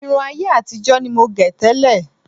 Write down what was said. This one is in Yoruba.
Irun ayé àtijọ́ ni mo gẹ̀ tẹ́lẹ̀